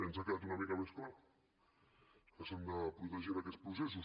ens ha quedat una mica més clar que s’hagin de protegir en aquests processos